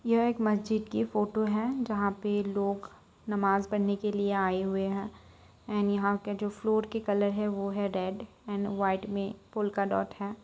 यह एक मस्जिद की फोटो है जहाँ पे लोग नमाज पढ़ने के लिए आये हुए है एन यहाँ का जो फ्लोर की कलर है वो है रेड एंड वाइट में का डॉट है।